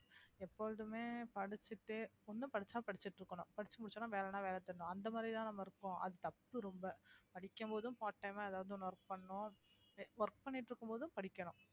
எப்பொழுதுமே படிச்சிட்டு ஒண்ணு படிச்சா படிச்சிட்டு இருக்கணும் படிச்சு முடிச்சவுடனே வேலைன்னா வேலை தேடணும் அந்த மாதிரிதான் நம்ம இருப்போம் அது தப்பு ரொம்ப படிக்கும் போதும் part time ஆ ஏதாவது ஒண்ணு work பண்ணணும் எ~ work பண்ணிட்டு இருக்கும் போதும் படிக்கணும்